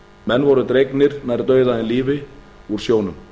menn voru dregnir nær dauða en lífi úr sjónum